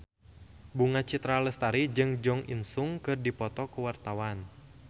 Bunga Citra Lestari jeung Jo In Sung keur dipoto ku wartawan